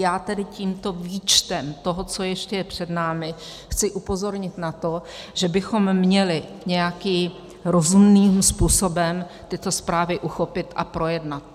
Já tedy tímto výčtem toho, co ještě je před námi, chci upozornit na to, že bychom měli nějakým rozumným způsobem tyto zprávy uchopit a projednat.